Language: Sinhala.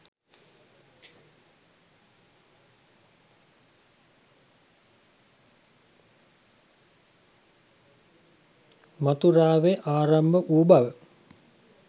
මථූරාවේ ආරම්භ වූ බව